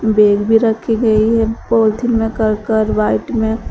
bag भी रखी गई है में कर कर व्हाइट में--